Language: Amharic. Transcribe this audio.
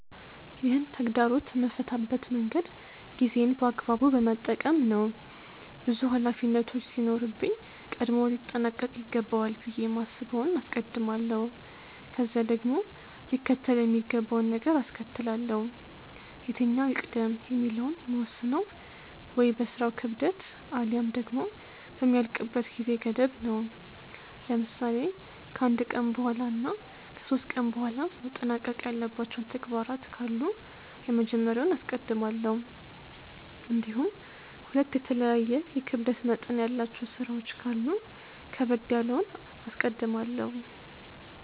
ይህን ተግዳሮት የምፈታበት መንገድ ጊዜዬን በአግባቡ በመጠቀም ነው። ብዙ ሀላፊነቶች ሲኖርብኝ ቀድሞ ሊጠናቅ ይገባዋል ብዬ የማስበውን አስቀድማለሁ፤ ከዚያ ደግሞ ሊከተል የሚገባውን ነገር አስከትላለው። የትኛው ይቅደም የሚለውን የምወስነው ወይ በስራው ክብደት አልያም ደግሞ በሚያልቅበት ጊዜ ገደብ ነው። ለምሳሌ ከ አንድ ቀን በኃላ እና ከ ሶስት ቀን በኃላ መጠናቀቅ ያለባቸው ተግባራት ካሉ የመጀመሪያውን አስቀድማለሁ። እንዲሁም ሁለት የተለያየ የክብደት መጠን ያላቸው ስራዎች ካሉ ከበድ ያለውን አስቀድማለሁ።